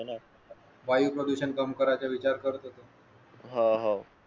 वायू प्रदूषण कम कराच विचार करत होतो